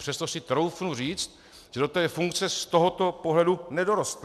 Přesto si troufnu říct, že do té funkce z tohoto pohledu nedorostl.